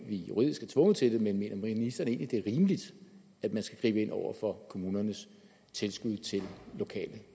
vi juridisk er tvunget til det men mener ministeren egentlig at det er rimeligt at man skal gribe ind over for kommunernes tilskud til lokale